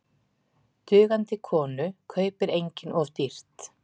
Dugandi konu kaupir enginn of dýrt.